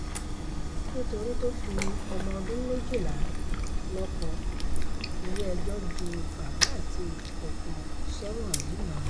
nítorí tó fi ọmọ ọdún méjìlá lóko ilé-ẹjọ́ ju bàbá àti ọkọ sẹ́wọ̀n ńìlọrin